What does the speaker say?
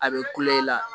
A bɛ kule i la